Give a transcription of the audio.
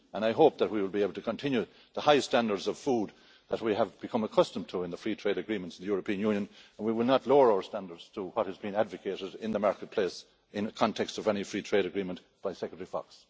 I hope that we will be able to continue the high standards for food that we have become accustomed to in free trade agreements in the European Union, and we will not lower our standards to what has been advocated in the marketplace in the context of any free trade agreement by Secretary Fox.